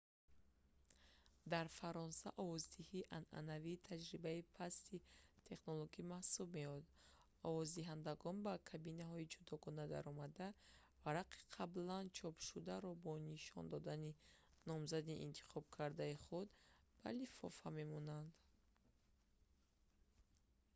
дар фаронса овоздиҳии анъанавӣ таҷрибаи пасти технологӣ маҳсуб меёбад овоздиҳандагон ба кабинаҳои ҷудогона даромада варақаи қаблан чопшударо бо нишон додани номзади интихобкардаи худ ба лифофа мемонанд